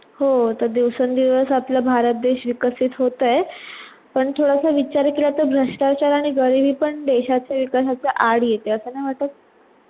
हो आता दिवसं दिवस आपला भारत देश विकासित होतय पण थोडस विचार केला तर भ्रष्टाचार आणि गरिबी पण देशाचा विकासाचा आड येते असा नाही वाटत?